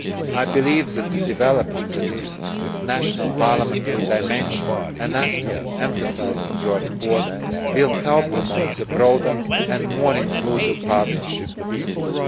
I believe that developing the national parliamentary dimension, an aspect emphasised in your report, will help promote the broader and more inclusive partnership we seek.